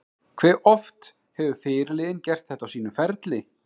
Hve oft hefur fyrirliðinn gert þetta á sínum ferli?